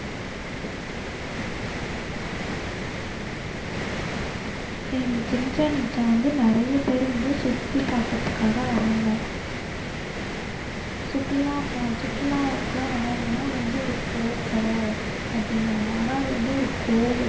இந்த Chichen Itza வந்து நிறைய பேரு வந்து சுத்தி பாக்கறதுக்காக வர்றாங்க. சுற்றுலா பா~ சுற்றுலாவுக்கெல்லாம் வர்றவங்க எல்லாம் அது வந்து ஒரு கோட்டை அப்படிங்குறாங்க. ஆனா அது வந்து ஒரு கோவில்.